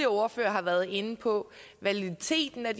ordførere har været inde på validiteten af